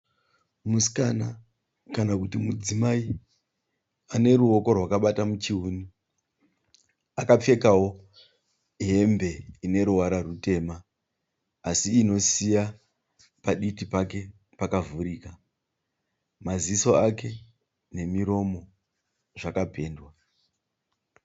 Musikana kana kuti mudzimai aneruwoko rwakabata muchivuno. Akapfekawo hembe ineruvara rutema asi inosiya paditi pake pakavhurika. Maziso ake nemiromo zvakapendwa.